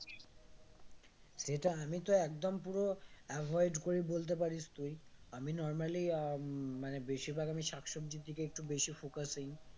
সেটা আমি তো একদম পুরো avoid করি বলতে পারিস তুই আমি normally আহ উম মানে বেশিরভাগ আমি শাক সবজির দিকে একটু বেশি focus দেই